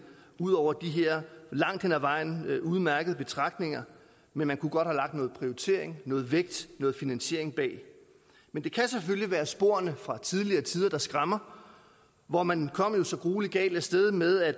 ud over de her langt hen ad vejen udmærkede betragtninger men man kunne godt have lagt noget prioritering noget vægt noget finansiering bag det men det kan selvfølgelig være sporene fra tidligere tider der skræmmer hvor man kom så gruelig galt af sted med at